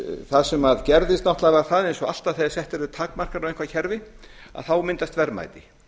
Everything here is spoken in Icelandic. það sem gerðist náttúrlega var það eins og alltaf þegar settar eru einhverjar takmarkanir á eitthvað kerfi þá myndast verðmæti